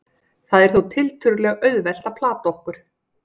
það er þó tiltölulega auðvelt að plata okkur